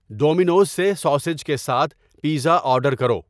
Domino's سے sausage کے ساتھ پیزا آرڈر کرو